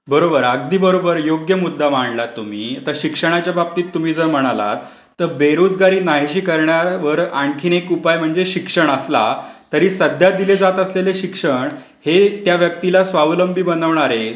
बरोबर, अगदी बरोबर. योग्य मुद्दा मांडलात तुम्ही. आता शिक्षणाच्या बाबतीत जर तुम्ही म्हणालात, तर बेरोजगारी नाहीशी करण्यावर आणखीन एक उपाय म्हणजे शिक्षण असलं सध्या दिले जात असलेले शिक्षण हे त्या व्यक्तिला स्वावलंबी बनवणारे,